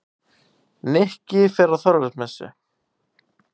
Nikki fer á Þorláksmessu.